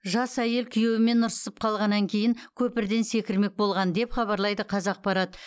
жас әйел күйеуімен ұрсысып қалғаннан кейін көпірден секірмек болған деп хабарлайды қазақпарат